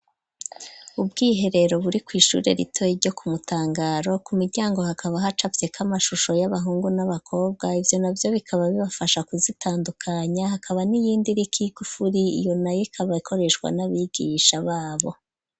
Ubwiherero buri kwishure ritoyi ryo Kumutangaro ku miryango hakaba hacafyeko amashusho y'abahungu n'abakobwa ivyo navyo bikaba bibafasha kuzitandukanya, hakaba n'iyindi iriko igufuri iyo nayo ikaba ikoreshwa n'abigisha babo.